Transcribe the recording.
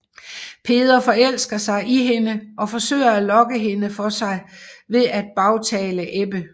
Peder forelsker sig i hende og forsøger at lokke hende for sig ved at bagtale Ebbe